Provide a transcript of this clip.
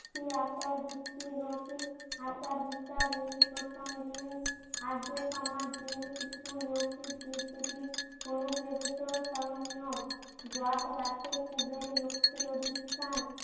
এ আচার ভিত্তি লৌকিক আচার বিচার এই প্রসঙ্গে আর্য্য সমাজের কিছু লৌকিক দেব দেবীর অনু প্রবেশন স্মরণীয়। বট গাছে খুদের লক্ষ্যের অধিস্থান